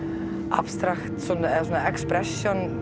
abstrakt eða